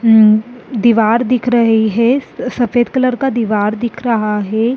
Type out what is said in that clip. दिवार दिख रही है सफ़ेद कलर का दिवार दिख रहा है।